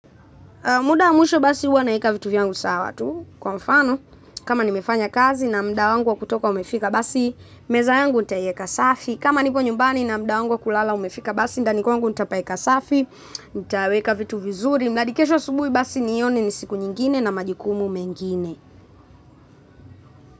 Muda mwisho basi huwa naeka vitu viyangu sawa tu kwa mfano. Kama nimefanya kazi na mda wangu wa kutoka umefika basi, meza yangu ntaieka safi. Kama nipo nyumbani na mda wangu wa kulala umefika basi ndani kwangu ntapaeka safi, ntaweka vitu vizuri. Mnadi kesho subuhi basi nione ni siku nyingine na majukumu mengine.